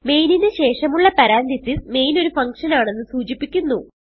മെയിനിന് ശേഷമുള്ള parenthesis main ഒരു function ആണെന്ന് സൂചിപ്പിക്കുന്നു